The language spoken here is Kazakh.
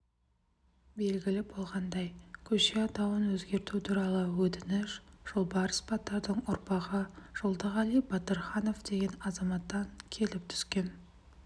белгілі болғандай көше атауын өзгерту туралы өтініш жолбарыс батырдың ұрпағы жолдығали батырханов деген азаматтан келіп түскен